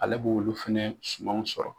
Ale b'olu fɛnɛ sumanw sɔrɔ.